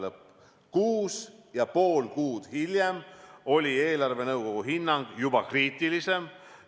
" Kuus ja pool kuud hiljem oli eelarvenõukogu hinnang juba kriitilisem.